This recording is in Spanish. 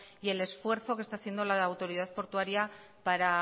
y el esfuerzo que está haciendo la autoridad portuaria para